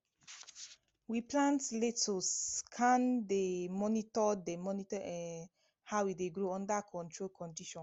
we plant lettuce kan dey monitor dey monitor um how e dey grow under controlled condition